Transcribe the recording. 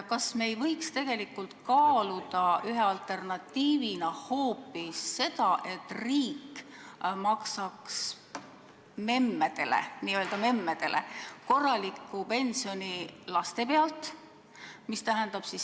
Kas me ei võiks ühe alternatiivina kaaluda hoopis seda, et riik maksaks n-ö memmedele korraliku pensioni laste pealt?